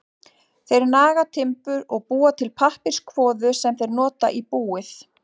Þeir naga timbur og búa til pappírskvoðu sem þeir nota í búið.